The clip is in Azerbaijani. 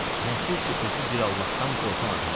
Nəsir ki özü bir Allahdan qorxan adamdır.